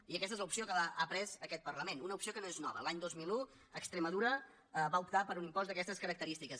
i aquesta és l’opció que ha pres aquest parlament una opció que no és nova l’any dos mil un extremadura va optar per un impost d’aquestes característiques